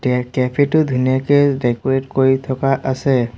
এ cafe টো ধুনীয়াকে decorate কৰি থকা আছে।